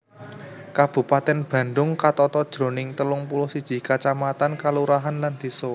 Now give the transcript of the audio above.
Kabupatèn Bandhung katata jroning telung puluh siji kacamatan kalurahan lan désa